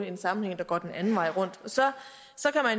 en sammenhæng der går den anden vej rundt så